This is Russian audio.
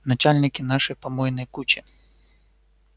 начальнички нашей помойной кучи